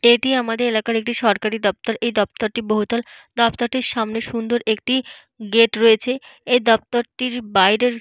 এটি আমাদের এলাকার একটি সরকারি দপ্তর। এই দপ্তরটি বহুতল। দপ্তরটির সামনে সুন্দর একটি গেট রয়েছে। এই দপ্তরটির বাইরের --